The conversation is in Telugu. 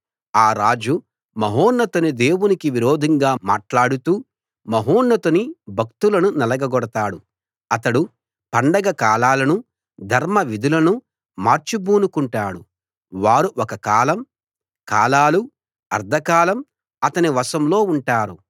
ఆ రాజు మహోన్నతుని దేవునికి విరోధంగా మాట్లాడుతూ మహోన్నతుని భక్తులను నలగగొడతాడు అతడు పండగ కాలాలను ధర్మవిధులను మార్చ బూనుకుంటాడు వారు ఒక కాలం కాలాలు అర్థకాలం అతని వశంలో ఉంటారు